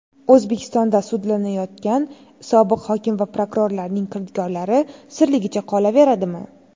O‘zbekistonda sudlanayotgan sobiq hokim va prokurorlarning kirdikorlari sirligicha qolaveradimi?.